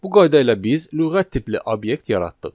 Bu qayda ilə biz lüğət tipli obyekt yaratdıq.